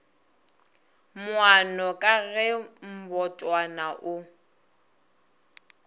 moano ka ge mbotwana o